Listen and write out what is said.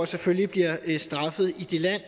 selvfølgelig bliver straffet i det land